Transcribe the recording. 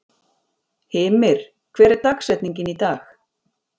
Hymir, hver er dagsetningin í dag?